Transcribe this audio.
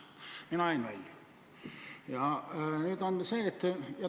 Mina jäin välja.